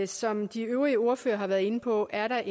som de øvrige ordførere har været inde på er der